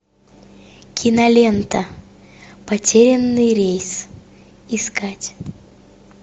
кинолента потерянный рейс искать